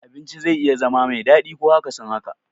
Abinci zai iya zama me daɗi ko akasin haka.